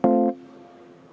Aga veel üks märkus.